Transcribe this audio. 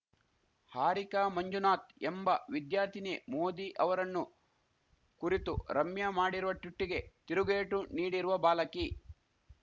ಹಾರಿಕಾ ಮಂಜುನಾಥ್‌ ಎಂಬ ವಿದ್ಯಾರ್ಥಿನಿಯೇ ಮೋದಿ ಅವರನ್ನು ಕುರಿತು ರಮ್ಯಾ ಮಾಡಿರುವ ಟ್ವಿಟ್ಟಿಗೆ ತಿರುಗೇಟು ನೀಡಿರುವ ಬಾಲಕಿ